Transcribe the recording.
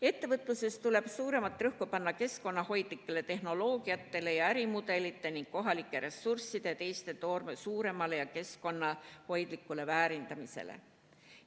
Ettevõtluses tuleb suuremat rõhku panna keskkonnahoidlikele tehnoloogiatele ja ärimudelitele ning kohalike ressursside ja teiste toormete suuremale ja keskkonnahoidlikule väärindamisele.